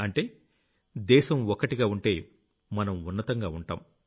అంటే దేశం ఒక్కటిగా ఉంటే మనం ఉన్నతంగా ఉంటాం